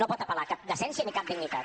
no pot apel·lar a cap decència ni a cap dignitat